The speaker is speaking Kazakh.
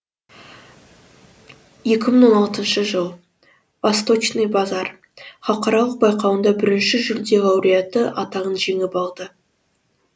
екі мың он алтыншы жыл васточный базар халықаралық байқауында бірінші жүлде лауреаты атағын жеңіп алды